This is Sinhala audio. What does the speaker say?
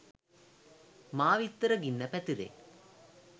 මාවිත්තර ගින්න පැතිරේ